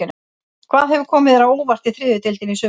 Hvað hefur komið þér á óvart í þriðju deildinni í sumar?